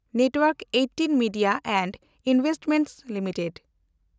ᱱᱮᱴᱣᱮᱱᱰᱠ ᱑᱘ media and investments limited